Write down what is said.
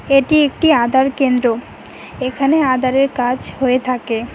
এটি একটি আধার কেন্দ্র এখানে আধার এর কাজ হয়ে থাকে।